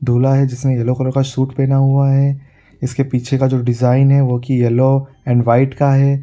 दूल्हा है जिसने येलो कलर का सूट पहना हुआ है | इसके पीछे का जो डिजाइन है वो की येलो एंड वाइट का है।